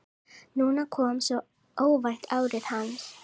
Núna kom svo óvænt árið hans.